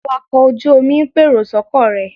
Awakọ̀ ojú-omi ń pèrò sọ́kọ̀ rẹ̀